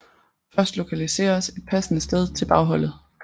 Først lokaliseres et passende sted til bagholdet